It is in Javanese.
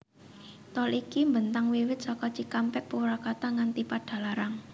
Tol iki mbentang wiwit saka Cikampek Purwakarta nganti Padalarang